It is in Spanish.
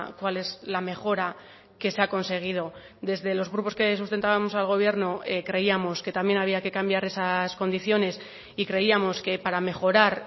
cuál es la mejora que se ha conseguido desde los grupos que sustentábamos al gobierno creíamos que también había que cambiar esas condiciones y creíamos que para mejorar